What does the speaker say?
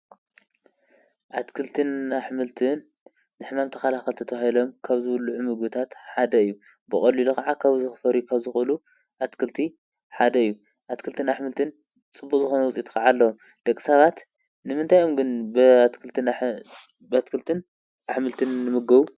ኣትክልትን ኣሐምልትን ንሕማም ተኸላኸልቲ ተባሂሎም ካብ ዝብለዑ ምግታት ሓደ እዩ፡፡ ብቐሉሉ ኸዓ ኻብ ዝኽፈርዩ ኻብ ዝኽእሉ ኣትክልቲ ሓደ እዩ፡፡ ኣትክልትን ኣሕምልትን ፅቡቕ ዝኾነ ዉፂኢት ኸዓ ይለምዕ ደቕ ሳባት ንምንታይ እዮም ግን ብኣትክልትን ኣሕምልትን ልምገቡ?